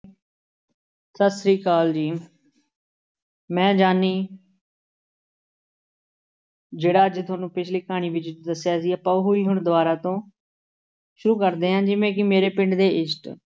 ਸਤਿ ਸ੍ਰੀ ਅਕਾਲ ਜੀ ਮੈਂ ਜਾਨੀ ਜਿਹੜਾ ਅੱਜ ਤੁਹਾਨੂੰ ਪਿੱਛਲੀ ਕਹਾਣੀ ਵਿੱਚ ਦੱਸਿਆ ਸੀ ਆਪਾਂ ਉਹੀ ਹੁਣ ਦੁਬਾਰਾ ਤੋਂ ਸ਼ੁਰੂ ਕਰਦੇ ਹਾਂ ਜਿਵੇਂ ਕਿ ਮੇਰੇ ਪਿੰਡ ਦੇ ਇਸ਼ਟ